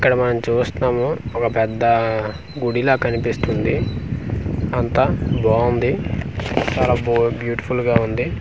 ఇక్కడ మనం చూస్తున్నాము ఒక పెద్ద గుడి ల కనిపిస్తుంది అంతా బాగుంది చాలా బు బ్యూటీ ఫుల్ గా ఉంది .